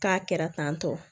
K'a kɛra tan tɔ